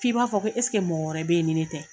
F'i b'a fɔ ko eseke mɔgɔ wɛrɛ bɛ ye ni ne tɛ.